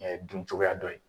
Ɛɛ dun cogoya dɔ ye.